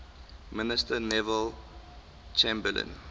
minister neville chamberlain